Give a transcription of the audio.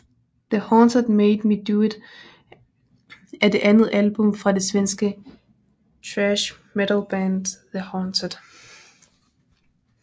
The Haunted Made Me Do It er det andet album fra det svenske thrash metalband The Haunted